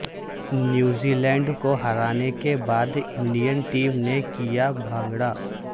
New Zealand کو ہرانے کے بعد انڈین ٹیم نے کیا بھانگڑا